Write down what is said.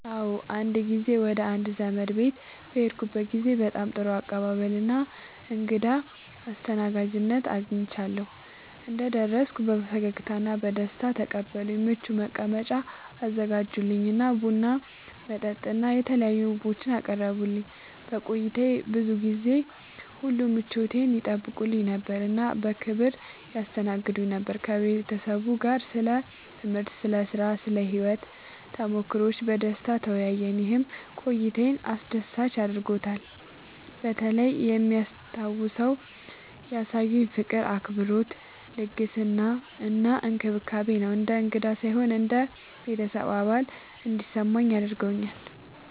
አዎ፣ አንድ ጊዜ ወደ አንድ ዘመዴ ቤት በሄድኩበት ጊዜ በጣም ጥሩ አቀባበል እና እንግዳ አስተናጋጅነት አግኝቻለሁ። እንደደረስኩ በፈገግታ እና በደስታ ተቀበሉኝ፣ ምቹ መቀመጫ አዘጋጁልኝ እና ቡና፣ መጠጥ እና የተለያዩ ምግቦችን አቀረቡልኝ። በቆይታዬ ጊዜ ሁሉ ምቾቴን ይጠይቁ ነበር እና በክብር ያስተናግዱኝ ነበር። ከቤተሰቡ ጋር ስለ ትምህርት፣ ስለ ሥራ እና ስለ ሕይወት ተሞክሮዎች በደስታ ተወያየን፣ ይህም ቆይታዬን አስደሳች አድርጎታልበተለይ የሚታወሰው ያሳዩኝ ፍቅር፣ አክብሮት፣ ልግስና እና እንክብካቤ ነው። እንደ እንግዳ ሳይሆን እንደ ቤተሰብ አባል እንዲሰማኝ አድርገውኛል።